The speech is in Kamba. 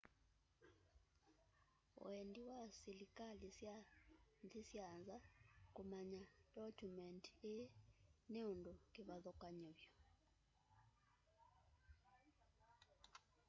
wendi wa silikali sya nthi syanza kumanya ndokyumendi ii ni undu kivathukany'o vyu